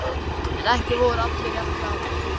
En ekki voru allir jafn glaðir.